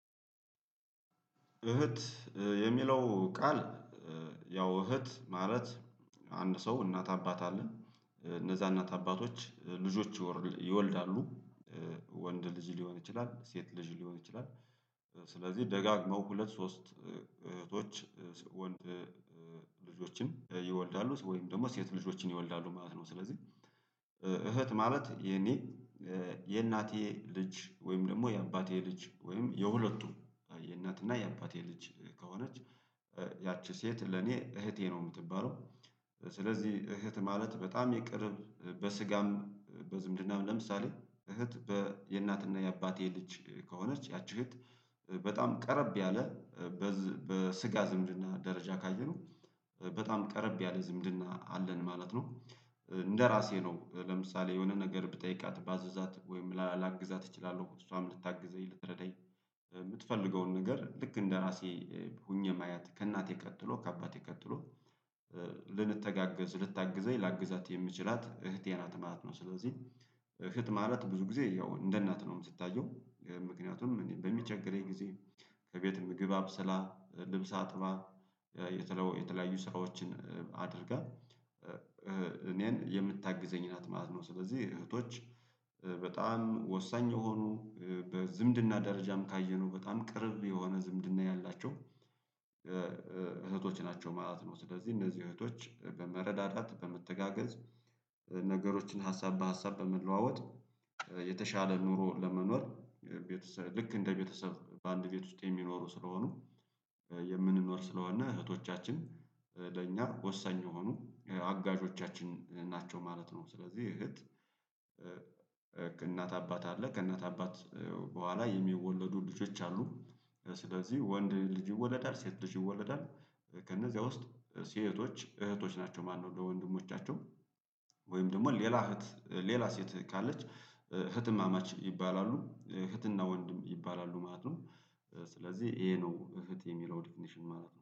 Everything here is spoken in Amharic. እህት የሚለው ቃል ያው እህት ማለት አንድ ሰው እናት አባት አለን እነዛ እናት አባቶች ልጆች ይወልዳሉ። ወንድ ልጅ ሊሆን ይችላል ሴት ልጅ ሊሆን ይችላል። ስለዚህ ደጋግመው ሁለት ሶስት እህቶች ወንድ ልጆችን ይወልዳሉ ወይም ደግሞ ሴት ልጆችን ይወልዳሉ ማለት ነው። ስለዚህ። እህት ማለት የኔ የእናቴ ልጅ ወይም ደግሞ የአባቴ ልጅ ወይም የሁለቱ የእናትና የአባቴ ልጅ ከሆነች ያቺ ሴት ለኔ እህቴ ነው የምትባለው። ስለዚህ እህት ማለት በጣም የቅርብ በስጋም በዝምድናም ለምሳሌ እህት በየእናትና የአባቴ ልጅ ከሆነች ያቺ እህት በጣም ቀረብ ያለ በስጋ ዝምድና ደረጃ ካየነው በጣም ቀረብ ያለ ዝምድና አለን ማለት ነው። እንደራሴ ነው ለምሳሌ የሆነ ነገር ብጠይቃት ባዛት ወይም ላግዛት እችላለሁ እሷም ልታግዘኝ ልትረዳኝ። የምትፈልገውን ነገር ልክ እንደራሴ ሆኜ ማየት ከእናቴ ቀጥሎ ከአባቴ ቀጥሎ ልንተጋገዝ ልታግዘኝ ላግዛት የምችላት እህቴ ናት ማለት ነው። ስለዚህ እህት ማለት ብዙ ጊዜ ያው እንደ እናት ነው ምትታየው ምክንያቱም እኔ በሚቸገረኝ ጊዜ ከቤት ምግብ አብሰላ ልብስ አጥባ። የተለያዩ ስራዎችን አድርጋ እኔን የምታግዘኝ ናት ማለት ነው። ስለዚህ እህቶች በጣም ወሳኝ የሆኑ በዝምድና ደረጃም ካየነው በጣም ቅርብ የሆነ ዝምድና ያላቸው። እህቶች ናቸው ማለት ነው። ስለዚህ እነዚህ እህቶች በመረዳዳት በመተጋገዝ ነገሮችን ሀሳብ በሀሳብ በመለዋወጥ የተሻለ ኑሮ ለመኖር ቤተሰብ ልክ እንደ ቤተሰብ በአንድ ቤት ውስጥ የሚኖሩ ስለሆኑ። የምንኖር ስለሆነ እህቶቻችን ለእኛ ወሳኝ የሆኑ አጋዦቻችን ናቸው ማለት ነው። ስለዚህ እህት ከእናት አባት አለ ከእናት አባት በኋላ የሚወለዱ ልጆች አሉ። ስለዚህ ወንድ ልጅ ይወለዳል ሴት ልጅ ይወለዳል። ከእነዚያ ውስጥ ሴቶች እህቶች ናቸው ማነው? ለወንድሞቻቸው ወይም ደግሞ ሌላ እህት ሌላ ሴት ካለች እህትማማች ይባላሉ እህትና ወንድም ይባላሉ ማለት ነው። ስለዚህ ይሄ ነው እህት የሚለው ዲፊኒሽን ማለት ነው